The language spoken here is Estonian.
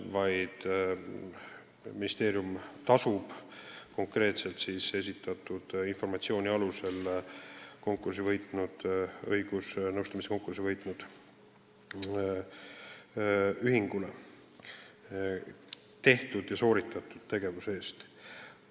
Ministeerium tasub õigusnõustamise konkursi võitnud ühingule nende informatsiooni alusel konkreetse tegevuse eest.